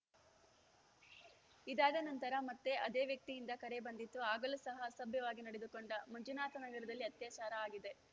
ಇದಾದ ನಂತರ ಮತ್ತೆ ಅದೇ ವ್ಯಕ್ತಿಯಿಂದ ಕರೆ ಬಂದಿತು ಆಗಲೂ ಸಹ ಅಸಭ್ಯವಾಗಿ ನಡೆದುಕೊಂಡ ಮಂಜುನಾಥ ನಗರದಲ್ಲಿ ಅತ್ಯಾಚಾರ ಆಗಿದೆ